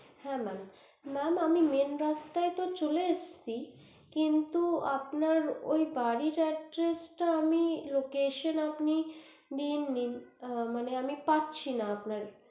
হ্যা mam mam আমি main রাস্তায় তো চলে এসছি কিন্তু আপনার ওই বাড়ির address টা আমি location আপনি দিন নি মানে পাসছি না আপনার